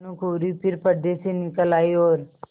भानुकुँवरि फिर पर्दे से निकल आयी और